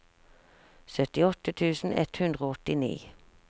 syttiåtte tusen ett hundre og åttini